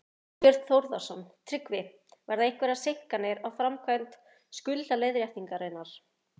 Þorbjörn Þórðarson: Tryggvi, verða einhverjar seinkanir á framkvæmd skuldaleiðréttingarinnar?